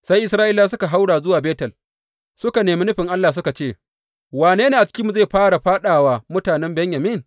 Sai Isra’ilawa suka haura zuwa Betel suka nemi nufin Allah, suka ce, Wane ne a cikinmu zai fara fāɗa wa mutanen Benyamin?